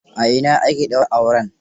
A ina aka daura auren?